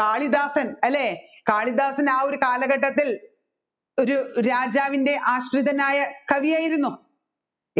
കാളിദാസൻ അല്ലെ കാളിദാസൻ ആ ഒരു കാലഘട്ടത്തിൽ ഒരു രാജാവിൻറെ ആശ്രിതനായ ഒരു കവിയായിരുന്നു